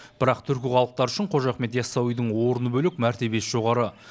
бірақ түркі халықтары үшін қожа ахмет ясауидің орны бөлек мәртебесі жоғары